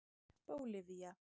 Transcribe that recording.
Bólivía